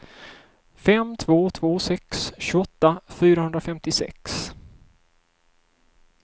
fem två två sex tjugoåtta fyrahundrafemtiosex